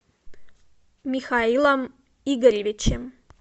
михаилом игоревичем